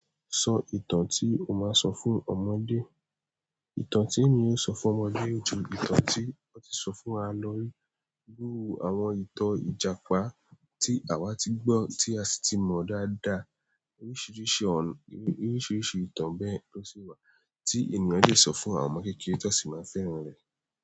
Sọ ìtàn tí o máa sọ fún ọmọdé. Ìtàn tí èmí yóò sọ fún ọmọdé ò jẹ ìtàn tí wọ́n ti sọ fún wa lọrí, irú àwọn ìtàn Ìjàpá tí àwa ti gbọ́ tí a sì ti mọ dáadáa. Oríṣiríṣi ìtàn bẹ́ẹ̀ ló sì wà tí ènìyàn le sọ fún àwọn ọmọ kékeré tó sì máa fẹ́ràn rẹ̀.